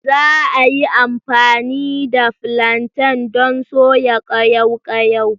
Za a yi amfani da flantain don soya ƙayaw ƙayaw.